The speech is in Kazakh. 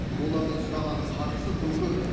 олардың сұраған қаржысы тым көп